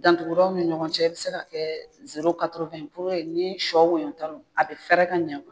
Dantugudaw ni ɲɔgɔn cɛ a bɛ se ka kɛ puruke ni sɔ woyota don a bɛ fɛɛrɛ ka ɲɛ